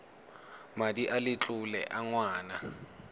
madi a letlole a ngwana